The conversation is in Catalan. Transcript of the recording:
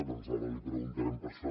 doncs ara li preguntarem per això